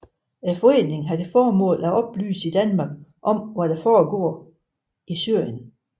Foreningen har til formål at oplyse i Danmark om hvad der foregår i Syrien